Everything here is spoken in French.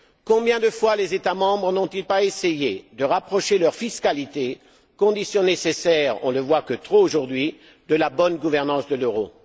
Combien de fois les États membres n'ont ils pas essayé de rapprocher leur fiscalité, condition nécessaire, on ne le voit que trop aujourd'hui, de la bonne gouvernance de l'euro?